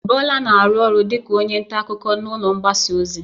Bola na-arụ ọrụ dịka onye nta akụkọ maka ụlọ mgbasa ozi.